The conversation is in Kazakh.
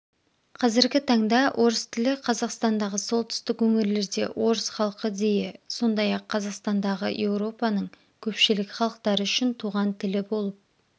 қазіргі таңда орыс тілі қазақстандағы солтүстік өңірлерде орыс халқы дейі сондай-ақ қазақстандағы еуропаның көпшілік халықтары үшін туған тілі болып